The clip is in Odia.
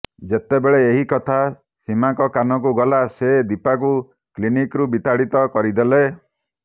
ଯେତେବେଳେ ଏହି କଥା ସୀମାଙ୍କ କାନକୁ ଗଲା ସେ ଦୀପାକୁ କ୍ଲିନିକରୁ ବିତାଡିତ କରିଦେଲେ